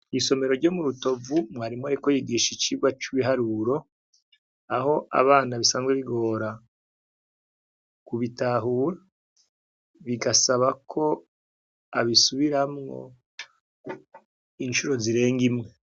Mwisomero ryo mu Rutovu mwarimu ariko yigisha icigwa c' ibiharuro aho abana bisanzwe bigora kubitahura bigasaba ko abisubiramwo incuro zirenga imwe.